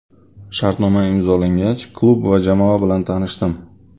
Shartnoma imzolangach klub va jamoa bilan tanishdim.